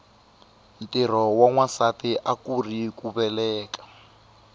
ntirho wa nwasati akuuri ku veleka